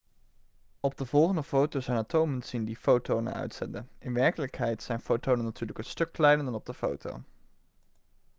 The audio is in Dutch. op de volgende foto zijn atomen te zien die fotonen uitzenden in werkelijkheid zijn fotonen natuurlijk een stuk kleiner dan op de foto